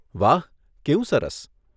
વાહ, કેવું સરસ.